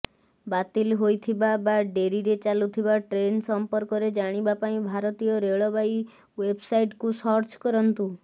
ବାତିଲ୍ ହୋଇଥିବା ବା ଡେରିରେ ଚାଲୁଥିବା ଟ୍ରେନ୍ ସମ୍ପର୍କରେ ଜାଣିବା ପାଇଁ ଭାରତୀୟ ରେଳବାଇ ଓ୍ବେବସାଇଟକୁ ସର୍ଚ୍ଚ କରନ୍ତୁ